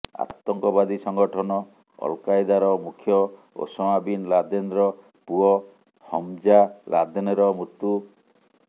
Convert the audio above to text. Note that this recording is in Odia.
ଆତଙ୍କବାଦୀ ସଂଗଠନ ଅଲକାଏଦାର ମୁଖ୍ୟ ଓସାମା ବିନ୍ ଲାଦେନ୍ର ପୁଅ ହମ୍ଜା ଲାଦେନ୍ର ମୃତ୍ୟୁ